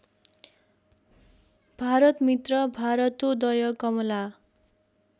Bharatmitra Bharatodaya Kamala